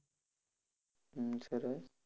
અમ સરસ.